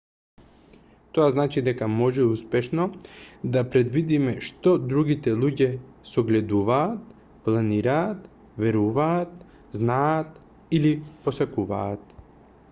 тоа значи дека може успешно да предвидиме што другите луѓе согледуваат планираат веруваат знаат или посакуваат